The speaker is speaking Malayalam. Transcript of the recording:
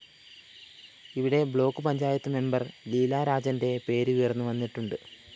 ഇവിടെ ബ്ലോക്ക്‌ പഞ്ചായത്ത് മെമ്പർ ലീല രാജന്റെ പേരുയര്‍ന്നു വന്നിട്ടുണ്ട്